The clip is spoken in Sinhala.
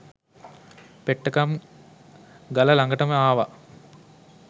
පෙට්ටගම් ගල ළඟටම ආව.